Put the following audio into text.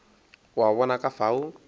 o a bona ka fao